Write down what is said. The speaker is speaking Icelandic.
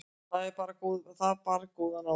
þetta bar góðan árangur